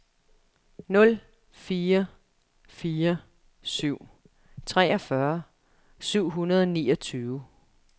nul fire fire syv treogfyrre syv hundrede og niogtyve